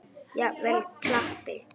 Jafnvel klappi.